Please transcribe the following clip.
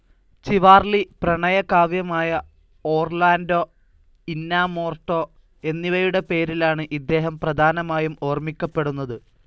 Chivalry, പ്രണയകാവ്യമായ Orlando Innamorato എന്നിവയുടെ പേരിലാണ്‌ ഇദ്ദേഹം പ്രധാനമായും ഓർമ്മിക്കപ്പെടുന്നത്.